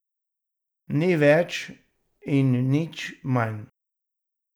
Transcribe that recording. Nič več in nič manj.